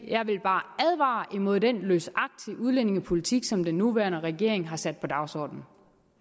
jeg vil bare advare imod den løsagtige udlændingepolitik som den nuværende regering har sat på dagsordenen